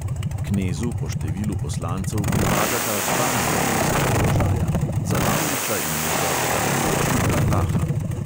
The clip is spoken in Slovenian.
Knezu po številu poslancev pripadata dva ministrska položaja, za lavriča in njegovega pribočnika laha.